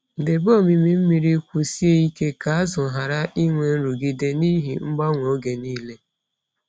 Debe omimi mmiri kwụsie ike ka azụ ghara inwe nrụgide n’ihi mgbanwe oge niile.